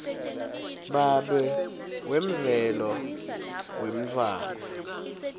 babe wemvelo wemntfwana